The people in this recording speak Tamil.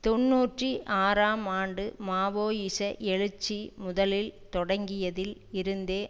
தொன்னூற்றி ஆறாம் ஆண்டு மாவோயிச எழுச்சி முதலில் தொடங்கியதில் இருந்தே